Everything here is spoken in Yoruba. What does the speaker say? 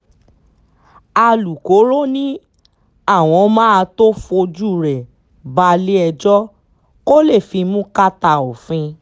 alūkkóró ni àwọn máa tóó fojú rẹ balẹ̀-ẹjọ́ kó lè fimú kàtà òfin